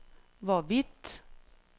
hvorvidt